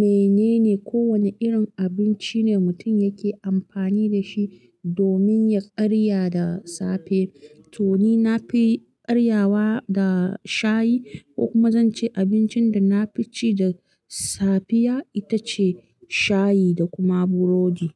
menene ko wane irin abinci ne mutum yake amfani da shi domin ya karya da safe. To ni na fi karyawa da shayi, ko kuma zance abincin da na fi ci da safiya ita ce shayi da kuma burodi.